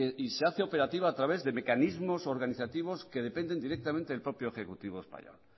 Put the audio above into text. y se hace operativa a través de mecanismos organizativos que dependen directamente del propio ejecutivo español